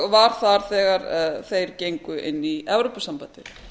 og var þar þegar þeir gengu inn í evrópusambandið